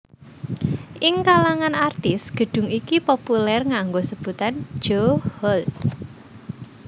Ing kalangan artis gedung iki populer nganggo sebutan Jo Hall